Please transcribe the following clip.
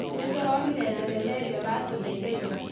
Nĩtũronire thenema ĩrĩa ũratũheire ira